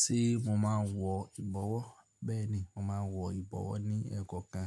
Ṣé mo máa ń wọ ìbọwọ́? Bẹ́ẹ̀ ni, mo máa ń wọ ìbọwọ́ ní ẹ́kọ̀kan